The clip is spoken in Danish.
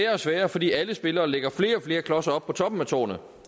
og sværere fordi alle spillere lægger flere og flere klodser op på toppen af tårnet